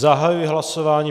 Zahajuji hlasování.